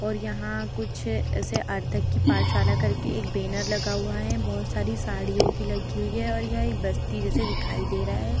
और यहाँ कुछ ऐसे अर्धकी पाठशाला करके एक बैनर लगा हुआ है बहोत सारी साड़ियों की लगी हुई हैं और यह एक बस्ती जैसा दिखाई दे रहा है।